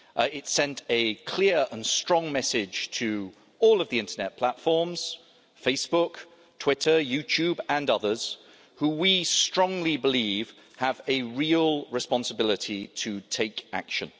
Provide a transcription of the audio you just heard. It sent a clear and strong message to all of the internet platforms Facebook, Twitter, YouTube and others who we strongly believe have a real responsibility to take action.